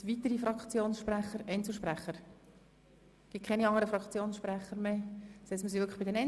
Wir sind also bei den Einzelsprechern.